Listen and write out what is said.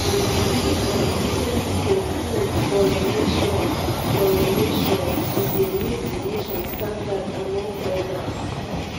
if educated pipo full for a nation for a nation a de make di nation stand out among others